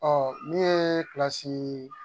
Ɔ min ye